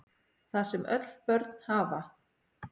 Það sem öll börn hafa